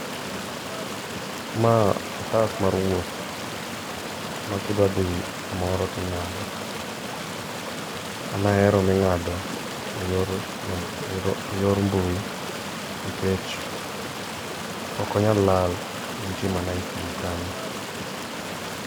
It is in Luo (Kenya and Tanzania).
Ma otas mar wuoth ma ki idwa dhi kumoro ti ing'ado, an ahero mi ing'ado e yor mbui nikech ok onyal lal entie mana e simo kanyo